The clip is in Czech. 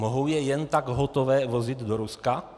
Mohou je jen tak hotové vozit do Ruska?